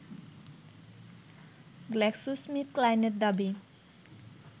GlaxoSmithKline এর দাবি